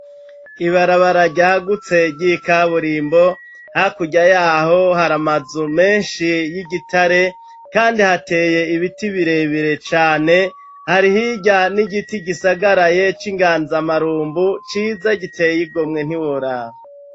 Ibarabara ryagutse ry' ikaburimbo hakurya yaho hari amazu menshi y'igitare kandi hateye ibiti birebere cane. Hari hirya n'igiti gisagaraye c'inganzamarumbu ciza giteye igomwe ntiworaba.